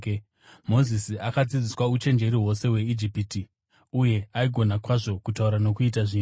Mozisi akadzidziswa uchenjeri hwose hweIjipiti uye aigona kwazvo kutaura nokuita zvinhu.